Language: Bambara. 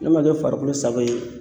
Ne ma kɛ farikolo sago ye